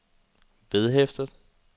vedhæftet